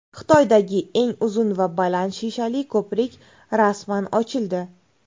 Xitoydagi eng uzun va baland shishali ko‘prik rasman ochildi.